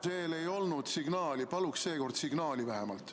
Veel ei olnud signaali, paluks seekord signaali vähemalt.